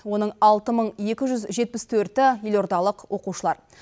оның алты мың екі жүз жетпіс төрті елордалық оқушылар